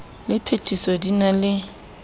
le phethiso di na le